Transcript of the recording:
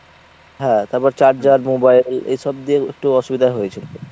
হ্যাঁ তারপর charger mobile এ ~ এসব দিয়েও একটু অসুবিধা হয়েছিল।